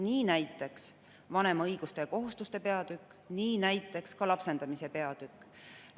Nii näiteks vanema õiguste ja kohustuste peatükk, ka lapsendamise peatükk.